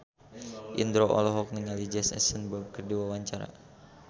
Indro olohok ningali Jesse Eisenberg keur diwawancara